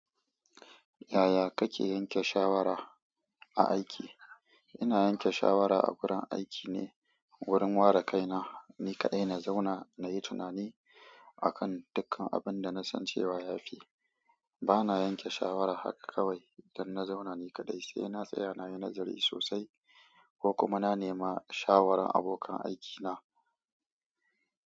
Yaya kake yanke shawara a aiki? Ina yanke shawara a wurin aiki ne wurin ware kaina. Ni kaɗai na zauna na yi tunani akan dukkan abin da na san cewa ya fi. Bana yanke shawara haka kawai don na zauna ni kaɗai, sai na tsaya na yi nazari sosai ko kuma na nema shawaran abokan aikina.